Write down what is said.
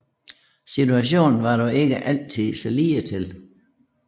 Situationen var dog ikke altid så ligetil